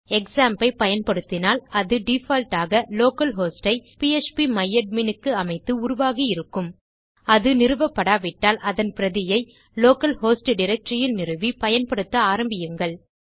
க்ஸாம்ப் ஐ பயன்படுத்தினால் அது டிஃபால்ட் ஆக லோக்கல் ஹோஸ்ட் ஐ பிஎச்பி மை அட்மின் க்கு அமைத்து உருவாகி இருக்கும் அது நிறுவபடாவிட்டால் அதன் பிரதியை லோக்கல் ஹோஸ்ட் டைரக்டரி இல் நிறுவி பயன்படுத்த ஆரம்பியுங்கள்